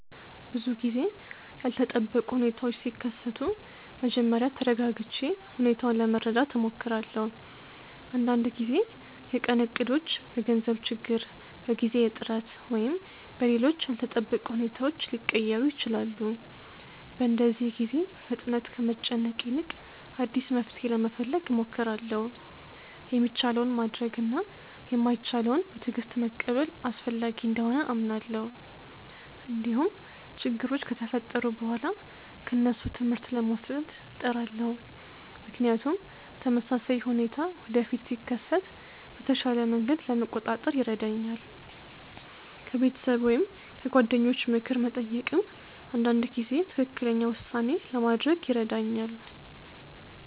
ብዙ ጊዜ ያልተጠበቁ ሁኔታዎች ሲከሰቱ መጀመሪያ ተረጋግቼ ሁኔታውን ለመረዳት እሞክራለሁ። አንዳንድ ጊዜ የቀን እቅዶች በገንዘብ ችግር፣ በጊዜ እጥረት ወይም በሌሎች ያልተጠበቁ ሁኔታዎች ሊቀየሩ ይችላሉ። በእንደዚህ ጊዜ በፍጥነት ከመጨነቅ ይልቅ አዲስ መፍትሔ ለመፈለግ እሞክራለሁ። የሚቻለውን ማድረግ እና የማይቻለውን በትዕግስት መቀበል አስፈላጊ እንደሆነ አምናለሁ። እንዲሁም ችግሮች ከተፈጠሩ በኋላ ከእነሱ ትምህርት ለመውሰድ እጥራለሁ፣ ምክንያቱም ተመሳሳይ ሁኔታ ወደፊት ሲከሰት በተሻለ መንገድ ለመቆጣጠር ይረዳኛል። ከቤተሰብ ወይም ከጓደኞች ምክር መጠየቅም አንዳንድ ጊዜ ትክክለኛ ውሳኔ ለማድረግ ይረዳኛል።